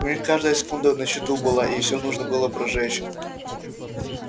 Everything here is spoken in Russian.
у них каждая секунда на счету была и все нужно было прожечь